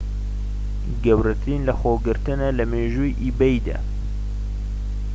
گەورەترین لەخۆگرتنە لە مێژووی ئیبەیدا